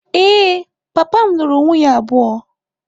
Ee, papa m lụrụ nwunye abụọ.